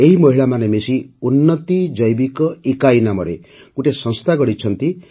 ଏହି ମହିଳାମାନେ ମିଶି ଉନ୍ନତି ଜୈବିକ ଇକାଈ ନାମରେ ଗୋଟିଏ ସଂସ୍ଥା ଗଢ଼ିଛନ୍ତି